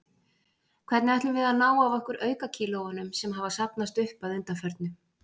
Hvernig ætlum við að ná af okkur aukakílóunum, sem hafa safnast upp að undanförnu?